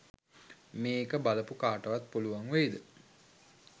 මේක බලපු කාටවත් පුලුවන් වෙයිද